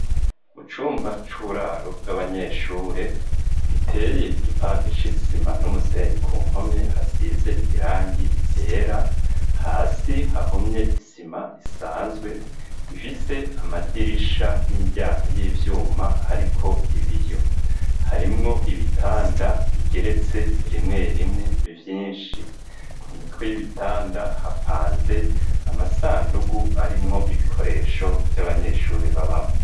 Mu cumba c'uburaro bw'abanyeshure giteye igipande c'isima n'umusenyi ku mpome hasize irangi rera hasi hahomye isima isanzwe gifise amadirisha n'imiryanko y'ivyuma hariko ibiyo harimwo ibitanda bige retse rimwe rimwe vyinshi ku mitwe y'ibitanda hapanze amasandugu arimwo ibikoresho vy'abanyeshuri babamwo.